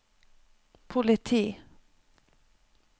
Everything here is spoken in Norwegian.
politi